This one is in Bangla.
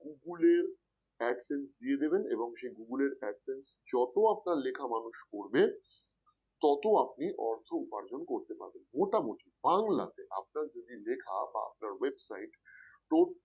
Google এর adsense দিয়ে দেবেন Google এর adsense যত আপনার লেখা মানুষ পড়বে তত আপনি অর্থ উপার্জন করতে পারবেন মোটামুটি বাংলাতে আপনার যদি লেখা বা আপনার Website টোট